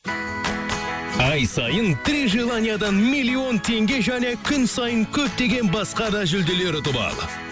ай сайын три желаниядан миллион теңге және күн сайын көптеген басқа да жүлделер ұтып ал